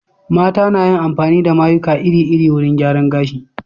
Mata na yin amfani da mayuka iri-iri wurin gyaran gashi.